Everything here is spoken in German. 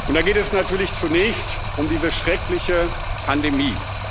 Und da geht es natürlich zunächst um diese schreckliche Pandemie.